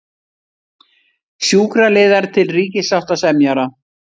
Sjúkraliðar til ríkissáttasemjara